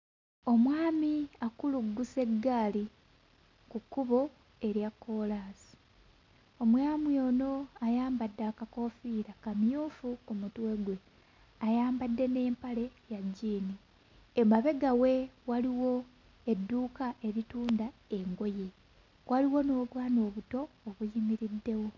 Omwami akuluggusa eggali ku kkubo erya kkoolaasi. Omwami ono ayambadde akakoofiira kamyufu ku mutwe gwe ayambadde n'empale ya jjiini. Emabega we waliwo edduuka eritunda engoye waliwo n'obwana obuto obuyimiriddewo.